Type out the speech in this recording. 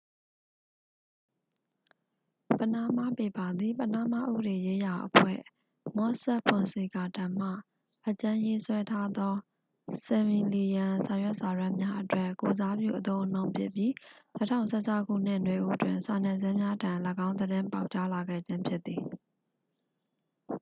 """ပနားမားပေပါ" သည် ပနားမားဥပဒေရေးရာအဖွဲ့ မော့ဆက်ဖွန်ဆီကာထံမှ အကြမ်းရေးဆွဲထားသော ဆယ်မီလီယံစာရွက်စာတမ်းများအတွက် ကိုယ်စားပြုအသုံးအနှုန်းဖြစ်ပြီး ၂၀၁၆ခုနှစ် နွေဦးတွင် စာနယ်ဇင်းများထံ ၎င်းသတင်းပေါက်ကြားလာခဲ့ခြင်းဖြစ်သည်။